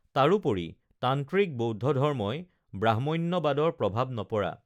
তাৰো পৰি তান্ত্ৰিক বৌদ্ধধৰ্মই ব্ৰাহ্ম্যণ্যবাদৰ প্ৰভাব নপৰা